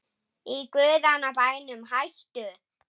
Í guðanna bænum hættu